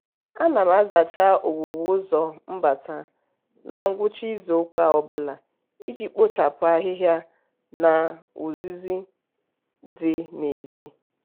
ana m azacha ọwụwụ ụzọ mbata na ngwụcha izuụka ọbụla iji kpọchapụ ahịhịa na uzuzu dị n'ezi.